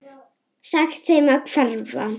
Sagt þeim að hverfa.